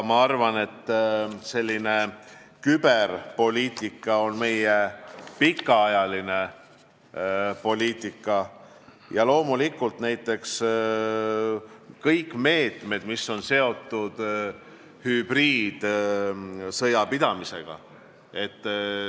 Ma arvan, et selline küberpoliitika on meie pikaajaline poliitika ja loomulikult on tähtsad kõik meetmed, mis on seotud hübriidsõja pidamisega.